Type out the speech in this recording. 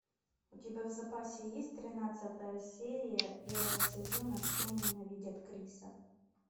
у тебя в запасе есть тринадцатая серия первого сезона все ненавидят криса